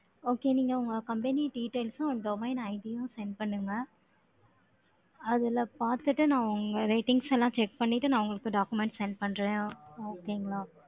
Okay, நீங்க உங்க company details உம், domin ID யும் send பண்ணுங்க. அதுல பார்த்துட்டு, நான் உங்க ratings எல்லாம் check பண்ணிட்டு, நான் உங்களுக்கு documents send பண்றேன். Okay ங்களா